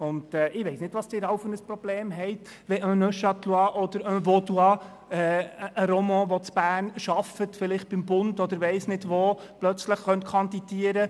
Ich weiss nicht, was Sie für ein Problem damit haben, wenn ein Neuchâtelois, ein Vaudois oder ein Romand, der in Bern arbeitet, vielleicht beim Bund oder weiss nicht wo, plötzlich kandidieren könnte.